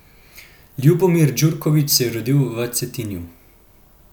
Ljubomir Djurković se je rodil v Cetinju.